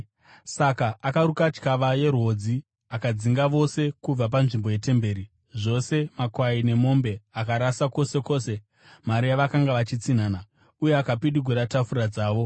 Saka akaruka tyava yerwodzi, akadzinga vose kubva panzvimbo yetemberi, zvose makwai nemombe; akarasa kwose kwose mari yavakanga vachitsinhana, uye akapidigura tafura dzavo.